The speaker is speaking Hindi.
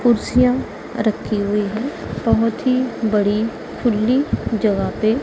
कुर्सियां रखी हुईं हैं बहुत ही बड़ी खुली जगह पे।